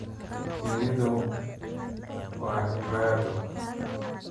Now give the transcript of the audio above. Shinnidu waa cibaado.